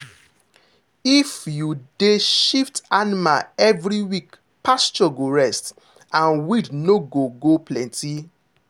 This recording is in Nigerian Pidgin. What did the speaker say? if you dey shift animal every week pasture go rest and weed no go go plenty.